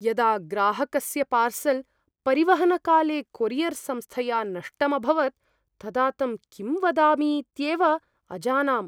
यदा ग्राहकस्य पार्सल् परिवहनकाले कोरियर् संस्थया नष्टम् अभवत् तदा तं किं वदामीत्येव अजानाम्।